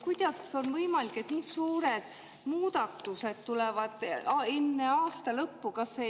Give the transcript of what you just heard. Kuidas on võimalik, et nii suured muudatused tulevad enne aasta lõppu?